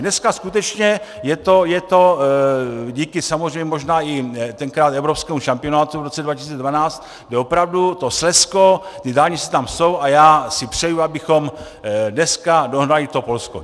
Dneska skutečně je to díky samozřejmě možná i tenkrát evropskému šampionátu v roce 2012, kdy opravdu to Slezsko, ty dálnice tam jsou, a já si přeju, abychom dneska dohnali to Polsko.